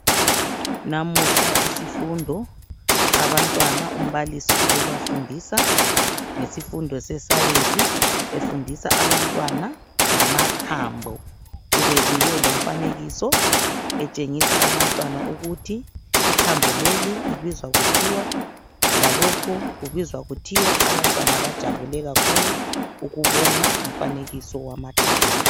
Namuhla isifundo sabantwana umbalisi ubebafundisa ngesifundo sescience efundisa abantwana ngamathambo . Ubebuye lomfanekiso etshengisa abantwana ukuthi ithambo leli libizwa kuthiwa lalokhu kubizwa kuthiwa . Abantwana bajabule kakhulu ukubona umfanekiso wamathambo..